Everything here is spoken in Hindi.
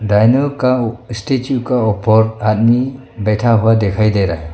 वेन्यूल काऊ स्टेचू का ऊपर आदमी बैठा हुआ दिखाई दे रहा।